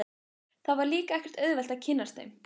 Það var líka ekkert auðvelt að kynnast þeim.